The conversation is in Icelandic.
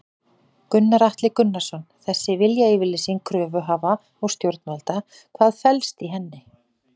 Gunnar Atli Gunnarsson: Þessi viljayfirlýsing kröfuhafa og stjórnvalda, hvað felst í henni?